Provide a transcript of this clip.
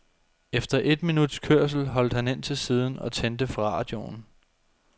Efter et minuts kørsel holdt han ind til siden og tændte for radioen.